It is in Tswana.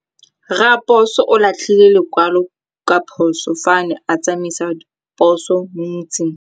Raposo o latlhie lekwalô ka phosô fa a ne a tsamaisa poso mo motseng.